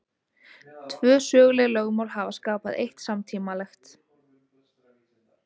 Tvö söguleg lögmál hafa skapað eitt samtímalegt.